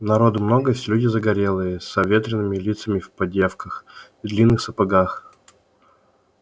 народу много все люди загорелые с обветренными лицами в поддёвках и длинных сапогах